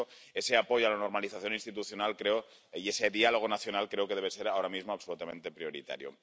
Por eso, ese apoyo a la normalización institucional ―y ese diálogo nacional― creo que debe ser ahora mismo absolutamente prioritario.